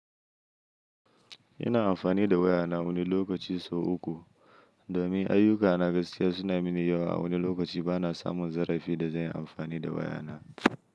Ina amfani da waya na wani lokaci so uku domin ayyuka na gaskiya suna mini yawa a wani lokaci bana samun zarafi da zan yi amfani da wayana.